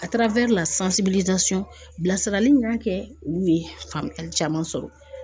A tiarawɛri al min y'a kɛ olu ye faamuyali caman sɔrɔ